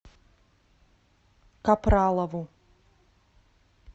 капралову